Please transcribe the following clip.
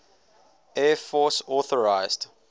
air force authorised